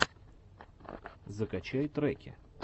закачай треки